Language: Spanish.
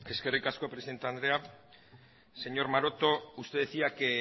eskerrik asko presidente andrea señor maroto usted decía que